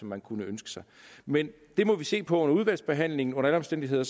man kunne ønske sig men det må vi se på under udvalgsbehandlingen under alle omstændigheder